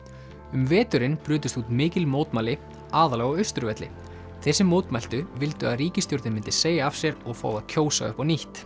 um veturinn brutust út mikil mótmæli aðallega á Austurvelli þeir sem mótmæltu vildu að ríkisstjórnin myndi segja af sér og fá að kjósa upp á nýtt